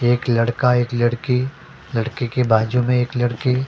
एक लड़का एक लड़की लड़की के बाजू में एक लड़की --